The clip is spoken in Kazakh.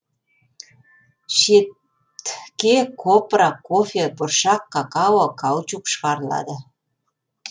шет копра кофе бұршақ какао каучук шығарылады